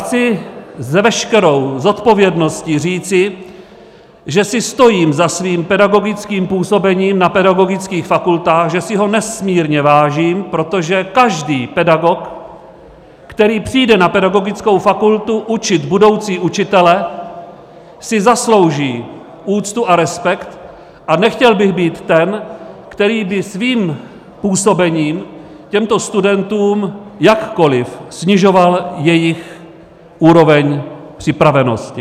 Chci s veškerou zodpovědností říci, že si stojím za svým pedagogickým působením na pedagogických fakultách, že si ho nesmírně vážím, protože každý pedagog, který přijde na pedagogickou fakultu učit budoucí učitele, si zaslouží úctu a respekt, a nechtěl bych být ten, který by svým působením těmto studentům jakkoliv snižoval jejich úroveň připravenosti.